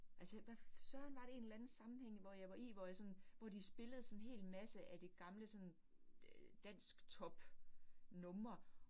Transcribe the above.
Altså hvad søren var det en eller anden sammenhæng, hvor jeg var i, hvor jeg sådan, hvor de spillede sådan hel masse af det gamle sådan dansktopnumre